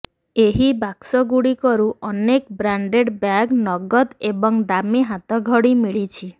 ଏହି ବାକ୍ସଗୁଡ଼ିକରୁ ଅନେକ ବ୍ରାଣ୍ଡେଡ୍ ବ୍ୟାଗ ନଗଦ ଏବଂ ଦାମୀ ହାତଘଡ଼ି ମିଳିଛି